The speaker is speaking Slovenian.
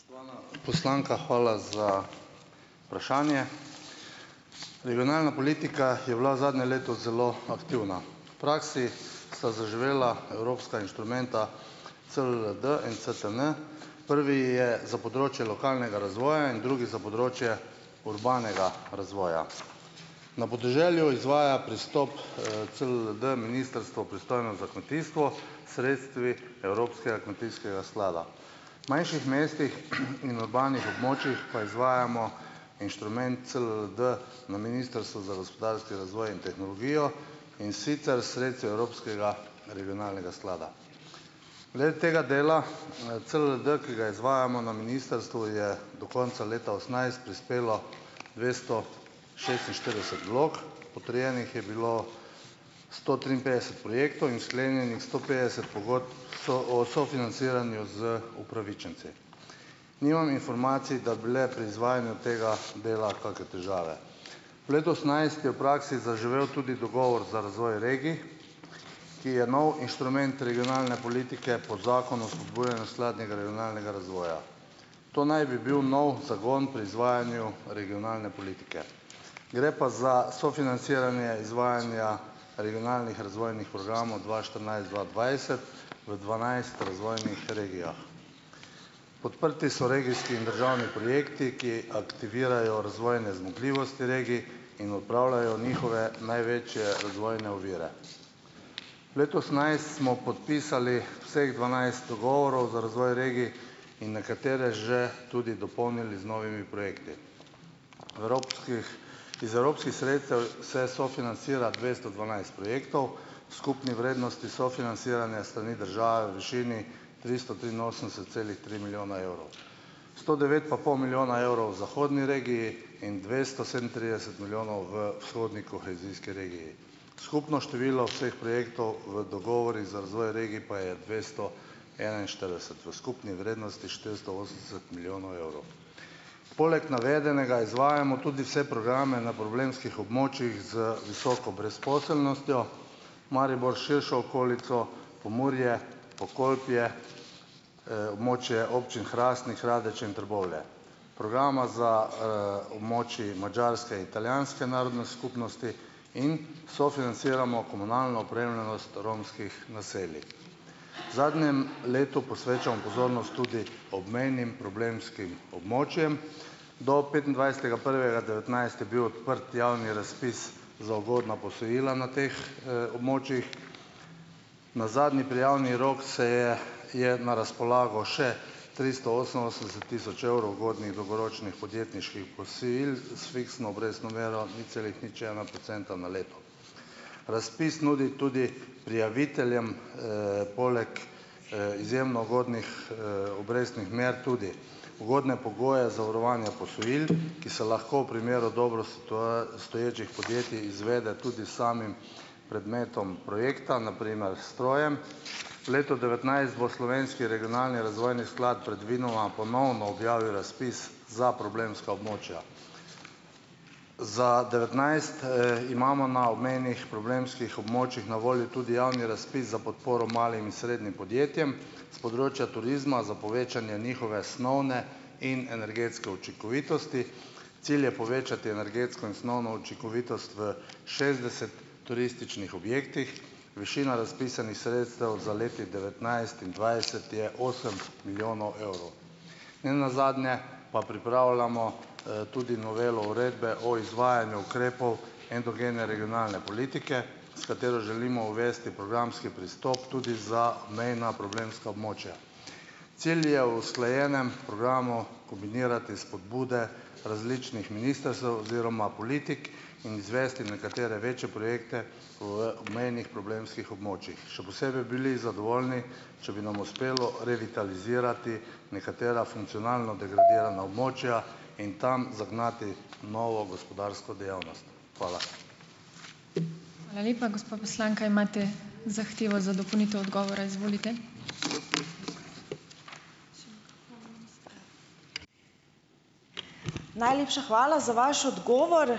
Poslanka, hvala za vprašanje. Regionalna politika je bila zadnje leto zelo aktivna. V praksi sta zaživela evropska inštrumenta CLLD in CTN. Prvi je za področje lokalnega razvoja in drugi za področje urbanega razvoja. Na podeželju izvaja pristop, CLLD ministrstvo, pristojno za kmetijstvo, s sredstvi Evropskega kmetijskega sklada. V manjših mestih in urbanih območjih pa izvajamo inštrument CLLD na Ministrstvu za gospodarski razvoj in tehnologijo, in sicer s sredstvi Evropskega regionalnega sklada. Glede tega dela, CLLD, ki ga izvajamo na ministrstvu, je do konca leta osemnajst prispelo dvesto šestinštirideset vlog, potrjenih je bilo sto triinpetdeset projektov in sklenjenih sto petdeset pogodb o sofinanciranju z upravičenci. Nimam informacij, da bi le pri izvajanju tega dela kake težave. V letu osemnajst je v praksi zaživel tudi dogovor za razvoj regij, ki je nov inštrument regionalne politike po Zakonu o spodbujanju skladnega regionalnega razvoja. To naj bi bil nov zagon pri izvajanju regionalne politike. Gre pa za sofinanciranje izvajanja regionalnih razvojnih programov dva štirinajst-dva dvajset v dvanajst razvojnih regijah. Podprti so regijski in državni projekti, ki aktivirajo razvojne zmogljivosti regij in odpravljajo njihove največje razvojne ovire. V letu osemnajst smo podpisali vseh dvanajst dogovorov za razvoj regij in nekatere že tudi dopolnili z novimi projekti. Evropskih, iz evropskih sredstev se sofinancira dvesto dvanajst projektov v skupni vrednosti sofinanciranja s strani države v višini tristo triinosemdeset celih tri milijona evrov. Sto devet pa pol milijona evrov v zahodni regiji in dvesto sedemintrideset milijonov v vzhodni kohezijski regiji. Skupno število vseh projektov v dogovorih za razvoj regij pa je dvesto enainštirideset v skupni vrednosti štiristo osemdeset milijonov evrov. Poleg navedenega izvajamo tudi vse programe na problemskih območjih z visoko brezposelnostjo, Maribor s širšo okolico, Pomurje, Pokolpje, območje občin Hrastnik, Radeče in Trbovlje. Programa za, območji madžarske, italijanske narodne skupnosti in sofinanciramo komunalno opremljenost romskih naselij. V zadnjem letu posvečamo pozornost tudi obmejnim problemskim območjem. Do petindvajsetega prvega devetnajst je bil odprt javni razpis za ugodna posojila na teh, območjih. Na zadnji prijavni rok se je je na razpolago še tristo oseminosemdeset tisoč evrov ugodnih dolgoročnih podjetniških posojil s fiksno obrestno mero nič celih nič ena procenta na leto. Razpis nudi tudi prijaviteljem, poleg, izjemno ugodnih, obrestnih mer tudi ugodne pogoje zavarovanja posojil, ki se lahko v primeru dobro stoječih podjetij izvede tudi s samim predmetom projekta, na primer s strojem. Leto devetnajst bo slovenski regionalni razvojni sklad predvidoma ponovno objavil razpis za problemska območja. Za devetnajst, imamo na obmejnih problemskih območjih na voljo tudi javni razpis za podporo malim in srednjim podjetjem, s področja turizma za povečanje njihove snovne in energetske učinkovitosti, cilj je povečati energetsko in snovno učinkovitost v šestdeset turističnih objektih, višina razpisanih sredstev za letnik devetnajst in dvajset je osem milijonov evrov. Ne nazadnje pa pripravljamo, tudi novelo uredbe o izvajanju ukrepov endogene regionalne politike, s katero želimo uvesti programski pristop tudi za mejna problemska območja. Cilj je v usklajenem programu kombinirati spodbude različnih ministrstev oziroma politik in izvesti nekatere večje projekte v obmejnih problemskih območjih. Še posebej bi bili zadovoljni, če bi nam uspelo revitalizirati nekatera funkcionalno degradirana območja in tam zagnati novo gospodarsko dejavnost. Hvala.